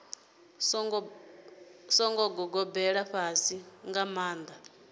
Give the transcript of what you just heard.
songo gobelela fhasifhasi nga maanḓa